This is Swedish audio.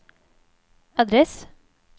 adress